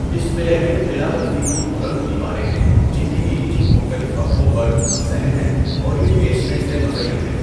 اس قلعے میں قلعہ بندی کی بلند دیواریں ہیں جن کے بیچ مختلف وقفوں پر صحن ہیں اور یہ بیسلمنٹ سے مزین ہے۔